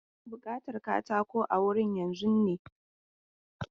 Ana bukatan katako a wurin yanzun ne?